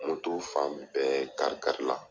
fan bɛɛ kari kari la.